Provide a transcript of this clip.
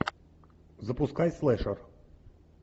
запускай слэшер